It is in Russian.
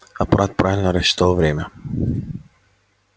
апорат правильно рассчитал время